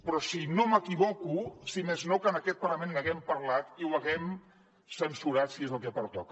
però si no m’equivoco si més no que en aquest parlament n’haguem parlat i ho haguem censurat si és el que pertoca